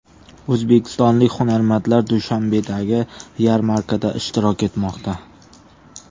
O‘zbekistonlik hunarmandlar Dushanbedagi yarmarkada ishtirok etmoqda.